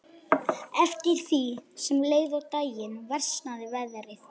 Eftir því sem leið á daginn versnaði veðrið.